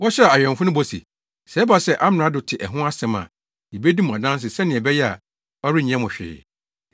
Wɔhyɛɛ awɛmfo no bɔ se, “Sɛ ɛba sɛ amrado te ɛho asɛm a, yebedi mo adanse sɛnea ɛbɛyɛ a, ɔrenyɛ mo hwee.”